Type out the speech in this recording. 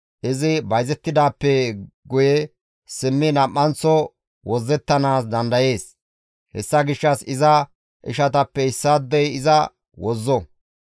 izi bayzettidaappe guye simmidi nam7anththo wozzettanaas dandayees; hessa gishshas iza ishatappe issaadey iza wozzo.